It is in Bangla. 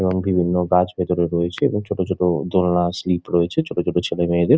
এবং বিভিন্ন গাছ ভিতরে রয়েছে এবং ছোট ছোট দোলনা স্লিপ রয়েছে ছোট ছোট ছেলে মেয়েদের।